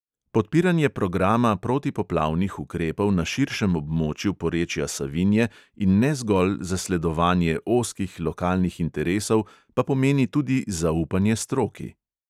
Podpiranje programa protipoplavnih ukrepov na širšem območju porečja savinje in ne zgolj zasledovanje ozkih lokalnih interesov pa pomeni tudi zaupanje stroki.